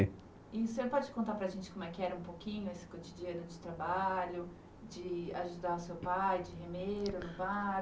E o senhor pode contar para a gente como era um pouquinho esse cotidiano de trabalho, de ajudar o seu pai, de remeiro, no barco